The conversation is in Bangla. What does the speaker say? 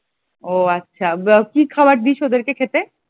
ও আচ্ছা, কি খাওয়ার দিস ওদেরকে খেতে?